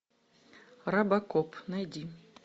робокоп найди